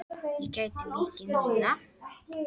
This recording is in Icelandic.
Ég græt mikið núna.